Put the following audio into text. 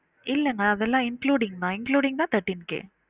இல்லாமா அதெல்லாம் including மா including தா thirteen K